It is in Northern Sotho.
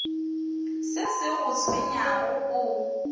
se se go tshwenyago o